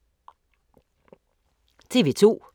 TV 2